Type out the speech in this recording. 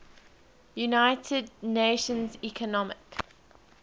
united nations economic